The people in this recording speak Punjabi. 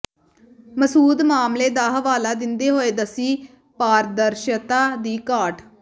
ਮਸੂਦ ਮਾਮਲੇ ਦਾ ਹਵਾਲਾ ਦਿੰਦੇ ਹੋਏ ਦੱਸੀ ਪਾਰਦਰਸ਼ਤਾ ਦੀ ਘਾਟ